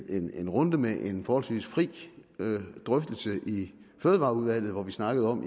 en runde med en forholdsvis fri drøftelse i fødevareudvalget hvor vi snakker om